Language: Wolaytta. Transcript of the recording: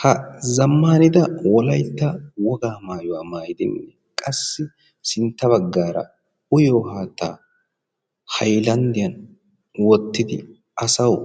ha zammaanidda wollaytta wogaa mayuwaa maayidi qassi sintta baggaara uyyiyoo haattaa haylandiyaan wottidi asawu